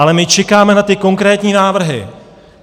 Ale my čekáme na ty konkrétní návrhy.